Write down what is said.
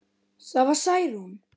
Það var Særún.